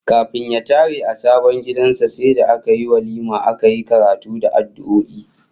Kafin ya tare a sabon gidan sa sai da aka yi walima aka yi karatu da addu'o'i